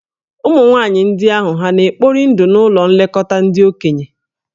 Ụmụ nwaanyị ndị ahụ hà na-ekpori ndụ n'ụlọ nlekọta ndị okenye?